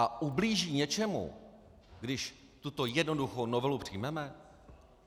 A ublíží něčemu, když tuto jednoduchou novelu přijmeme?